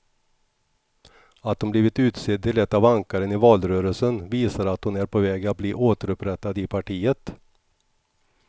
Att hon blivit utsedd till ett av ankaren i valrörelsen visar att hon är på väg att bli återupprättad i partiet.